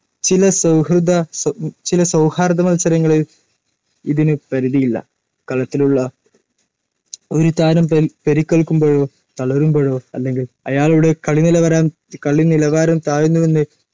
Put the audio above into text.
ചില സൗഹൃദ ചില സൗഹാർദ്ദ മൽസരങ്ങളിൽ ഇതിനു പരിധി ഇല്ല. കളത്തിലുള്ള ഒരു താരം പരിക്കേൽക്കുമ്പോഴോ തളരുമ്പോഴോ അല്ലെങ്കിൽ അയാളുടെ കളിനിലവരം കളിനിലവാരം താഴുന്നുവെന്ന്